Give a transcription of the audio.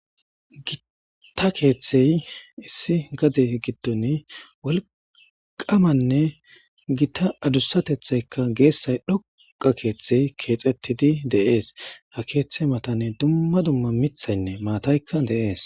gita keeththey issi gade giddoni wolqamanne gita adussatethaykka geessay dhoqa keeththey keexettidi de7ees ha keeththey matanne dumma dumma mithaynne maataykka deees